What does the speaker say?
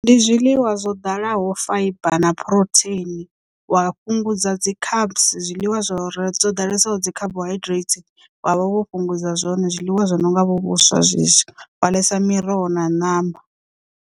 Ndi zwiḽiwa zwo ḓalaho faiba na phurotheini wa fhungudza dzi cabs zwiḽiwa zwori dzo ḓalesaho dzi carbohydrates wa fhungudza zwone zwiḽiwa zwi no nga vho vhuswa zwezwo wa ḽesa miroho na ṋama.